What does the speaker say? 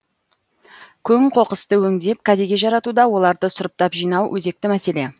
көң қоқысты өңдеп кәдеге жаратуда оларды сұрыптап жинау өзекті мәселе